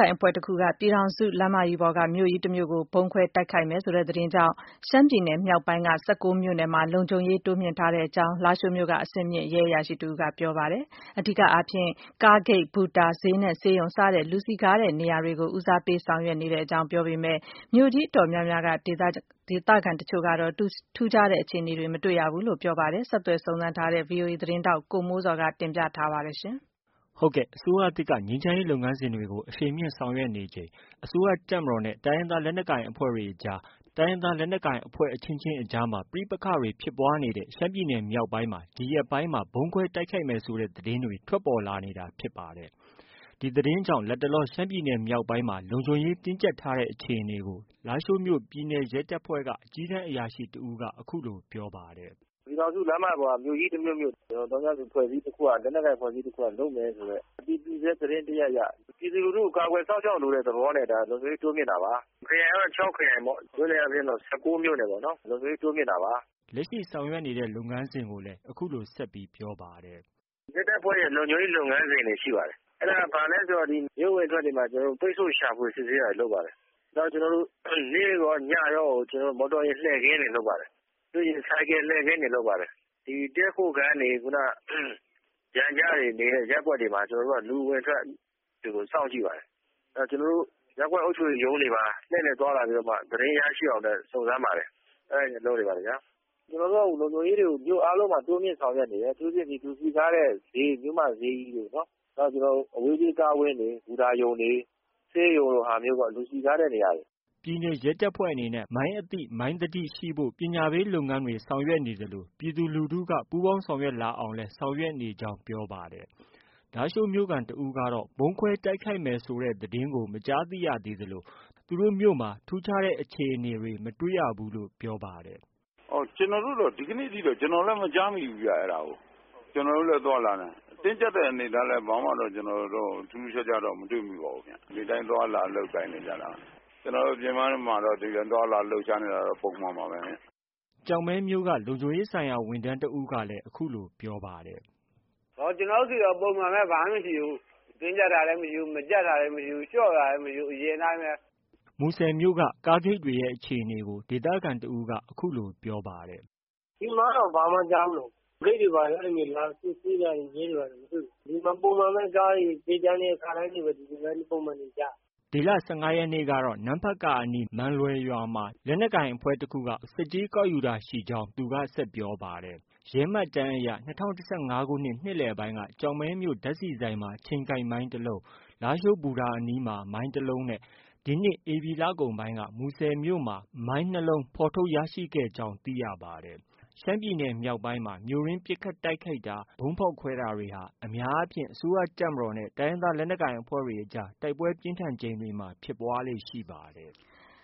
င်အဖွဲ့တခုက ပြည်ထောင်စုလမ်းမပေါ်က မြို့ကြီး တစ်မြို့ကို ဗုံးခွဲတိုက်ခိုက်မယ် ဆိုတဲ့ သတင်းကြောင့် ရှမ်းပြည်နယ်မြောက်ပိုင်းက မြို့နယ် ၁၉မြို့နယ်မှာ လုံခြုံရေး တိုးမြှင့်ထားတယ်လို့ လားရှိုးမြို့က ပြည်နယ်ရဲတပ်ဖွဲ့က အကြီးတန်းအရာရှိတဦးက ပြောပါတယ်။ အဓိကအားဖြင့် ကားဂိတ်၊ ဘူတာ၊ဈေးနဲ့ ဆေးရုံစတဲ့ လူစည်ကားရာနေရာတွေကို ဦးစားပေးဆောင်ရွက်နေကြောင်း ပြောဆိုပေမဲ့ မြို့ကြီး အတော်များများ က ဒေသခံတချို့ကတော့ ထူးခြားတဲ့အခြေအနေတွေ မတွေ့ရကြောင်း ပြောပါတယ်။ ဒီသတင်းကိုတော့ ဗွီအိုအေသတင်းထောက် ကိုမိုးဇော်က တင်ပြထားပါတယ်။ အစိုးရသစ်က ငြိမ်းချမ်းရေးလုပ်ငန်းစဉ်တွေအရှိန်မြှင့်ဆောင်ရွက်နေချိန်၊ အစိုးရတပ်မတော်နဲ့ တိုင်းရင်းသားလက်နက်ကိုင်အဖွဲ့တွေအကြား၊ တိုင်းရင်းသား လက်နက်ကိုင်အဖွဲ့အချင်းချင်းအကြား ပဋိပက္ခတွေဖြစ်ပွားနေတဲ့ ရှမ်းပြည်နယ်မြောက်ပိုင်း မှာ ဒီရက်ပိုင်းမှာ ဗုံးခွဲတိုက်ခိုက်မယ်ဆိုတဲ့သတင်းတွေ ထွက်ပေါ်လာနေတာဖြစ်ပါတယ်။ ဒီသတင်းကြောင့် လတ်တလော ရှမ်းပြည်နယ်မြောက်ပိုင်းမှာ လုံခြုံရေး တင်းကျပ် ထားတဲ့ အခြေအနေကို လားရှိုးမြို့က ပြည်နယ်ရဲတပ်ဖွဲ့က အကြီးတန်းအရာရှိ တဦးက အခုလို ပြောပါတယ်။ " ပြည်ထောင်စုလမ်းမကြီးပေါ်က မြို့ကြီးတမြို့မြို့ ကို သောင်းကျန်းသူ အဖွဲ့အစည်း တခုခုက လက်နက်ကိုင်အဖွဲ့အစည်းတခုက လုပ်မယ်ဆိုတဲ့ အတည်ပြုဆဲ သတင်းတရပ်အရ ပြည်သူလူထုကို ကာကွယ်စောင့်ရှောက်လိုတဲ့ သဘောနဲ့ ဒါ လုံခြုံရေးတိုးမြှင့်တာပါ။ ခရိုင်အားဖြင့် ခြောက်ခရိုင်၊ မြို့နယ်အားဖြင့် ၁၉မြို့နယ်ပေါ့နော် လုံခြုံရေးတိုးမြှင့်တာပါ။" လက်ရှိဆောင်ရွက်နေတဲ့ လုပ်ငန်းစဉ်တွေကို အခုလို ဆက်ပြောပါတယ်။ " ရဲတပ်ဖွဲ့ရဲ့လုပ်ငန်းစဉ်တွေ ရှိပါတယ်။ အဲ့တာက ဘာလဲဆိုတော့ မြို့အဝင်အထွက်တွေမှာ ပိတ်ဆို့ရှာဖွေ စစ်ဆေးတာတွေ လုပ်ပါတယ်။ နောက် နေ့ရော ညရော မော်တော်ယာဉ်လှည့်ကင်းတွေနဲ့ လုပ်ပါတယ်။ ဆိုင်ကယ် လှည့်ကင်းတွေ လုပ်ပါတယ်။ တည်းခိုခန်းတွေ ၊ ပျံကျတွေ နေတဲ့ ရပ်ကွက်တွေမှာ ကျနော်တို့က လူအဝင်အထွက်တွေကို စောင့်ကြည့်ပါတယ်။ အဲ့ဒီ့တော့ ရပ်ကွက်အုပ်ချုပ်ရေးရုံးတွေမှာ လှည့်လည်သွားလာပြီးတော့မှ သတင်းရရှိအောင်အတွက် စုံစမ်းပါတယ်။ ကျနော်တို့က မြို့အားလုံးမှာ လုံခြုံရေးကို တိုးမြှင့်ဆောင်ရွက်နေတယ် အထူးသဖြင့် လူစည်ကားတဲ့ ဈေး မြို့မဈေးကြီးတို့ အဝေးပြေးကားဝင်းတွေ၊ ဘူတာရုံတွေ၊ ဆေးရုံလိုဟာမျိုးတွေ လူစည်ကားတဲ့နေရာတွေ။" ပြည်နယ်ရဲတပ်ဖွဲ့အနေနဲ့ မိုင်းအသိ မိုင်းသတိရှိဖို့ကို ပညာပေး လုပ်ငန်းဆောင်ရွက်နေ သလို ပြည်သူလူထုက ပူးပေါင်းဆောင်ရွက် လာအောင် လည်း ဆောင်ရွက်နေကြောင်း ပြောပါတယ်။ လားရှိုးမြို့ခံတဦးကတော့ ဗုံးခွဲတိုက်ခိုက်မယ့်သတင်းမကြားသိရသေးသလို သူတို့မြို့မှာ ထူးခြားတဲ့ အခြေအနေတွေလည်း မတွေ့ရဘူးလို့ ပြောပါတယ်။ " ကျနော်တို့တော့ ဒီကနေ့အထိ အဲ့တာကို မကြားမိသေးဘူးခင်ဗျ။ အဲ့ဒီ့ဟာကို။ ကျနော်တို့လည်း သွားလာနေတာပဲ။ တင်းကျပ်တဲ့အနေအထားလည်း ဘာမှတော့ ထူးထူးခြားခြားတော့ မတွေ့မိပါဘူးခင်ဗျ။ ဒီအတိုင်းသွားလာ လုပ်ကိုင်နေကြတာပါပဲ။ ကျနော်တို့ အပြင်မှာတော့ သွားလာလှုပ်ရှားနေတာ ပုံမှန်ပါပဲခင်ဗျ။ " ကျောက်မဲမြို့က လုံခြုံရေးဆိုင်ရာ ဝန်ထမ်းတဦးကလည်း အခုလို ပြောပါတယ်။ " ကျနော်တို့ဆီတော့ ပုံမှန်ပဲ ဘာမှ မရှိဘူး။ တင်းကျပ်တာလည်း မရှိဘူး။ ကျပ်တာလည်း မရှိဘူး။ လျော့တာလည်း မရှိဘူး။ အရင်အတိုင်းပဲ။" မူဆယ်မြို့ကကားဂိတ်တွေရဲ့အခြေအနေကိုတော့ ဒေသခံတယောက်က အခုလို ပြောပါတယ်။ " ဒီမှာတော့ ဘာမှ မကြားမိဘူး။ ဂိတ်တွေ ဘာတွေ လာစစ်ဆေးတာ၊ ရဲတွေ ဘာတွေ မတွေ့ဘူး။ ပုံမှန်ပဲ ခါတိုင်းလိုပုံမှန်ပဲနေကြတယ်။ " ဒီလ ၁၅ရက်နေ့ကတော့ နမ့်ဖတ်ကာအနီး မန်လွယ်ရွာမှာ လက်နက်ကိုင်အဖွဲ့တခုက ကားတွေကို ဆက်ကြေးကောက်ယူတာရှိကြောင်း ပြောပါတယ်။ ရဲမှတ်တမ်းအရ ၂၀၁၅ခုနှစ် နှစ်လည်ပိုင်းက ကျောက်မဲမြို့ဓါတ်ဆီဆိုင်မှာ ချိန်ကိုက်မိုင်းတစ်လုံး၊ လားရှိုးဘူတာအနီးမှာ မိုင်းတစ်လုံး ဒီနှစ် ဧပြီလကုန်က မူဆယ်မြို့မှာ မိုင်း၂လုံးဖော်ထုတ် ရရှိခဲ့ကြောင်း သိရပါတယ်။ ရှမ်းပြည်နယ်မြောက်ပိုင်းမှာ မြို့တွင်းပစ်ခတ်တိုက်ခိုက်တာ၊ ဗုံးဖောက်ခွဲတာတွေဟာ အများအားဖြင့် အစိုးရတပ်မတော်နဲ့ တိုင်းရင်းသားလက်နက်ကိုင်အဖွဲ့တွေအကြား တိုက်ပွဲပြင်းထန်ချိန်တွေမှာ ဖြစ်ပွားလေ့ရှိပါတယ်။